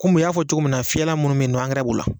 Komi u y'a fɔ cogo min na fiyɛlan minnu bɛyinɔ b'o la.